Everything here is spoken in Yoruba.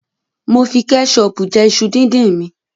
Mo fi kẹṣọọ̀pù jẹ iṣu díndín mi.